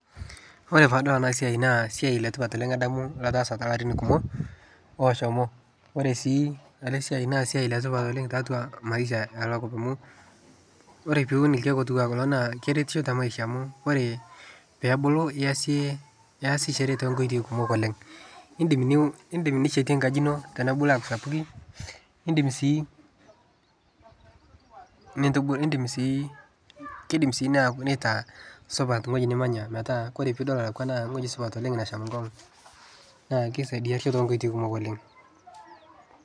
Ore paadol ena siaai naa siaai letipat oleng adamu lataasa tolarin kumok oshomo , ore sii ena siaai naa siaai letipat oleng tiatua maisha elakop amu ore ilkieek otiu naa keretisho te maisha amu ore pebulu naa iasichore too nkoitoi kumok oleng, idim nishetie enkaji ino tenebulu aaku sapukin, idim sii , kidim sii nitaa supat ngueji nimanya metaa kore inidol naa wueji supat nasham nkongu , naa kisaidia too nkotoii kumok oleng.